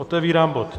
Otevírám bod